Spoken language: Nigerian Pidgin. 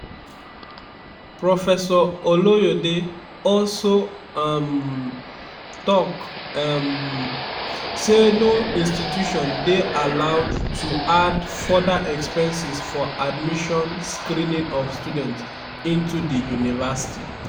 professor oloyede also um tok um say no institution dey allowed to add further expenses for admission screening of students into di university.